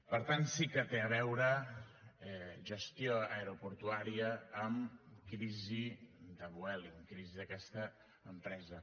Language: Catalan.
per tant sí que té a veure gestió aeroportuària amb crisi de vueling crisi d’aquesta empresa